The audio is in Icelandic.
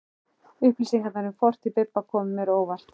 Upplýsingarnar um fortíð Bibba komu mér á óvart.